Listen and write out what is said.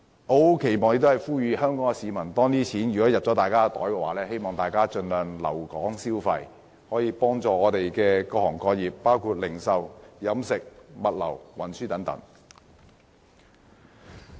我期望並且呼籲香港市民在受惠後盡量留港消費，幫助各行各業，包括零售業、飲食業、物流業、運輸業等。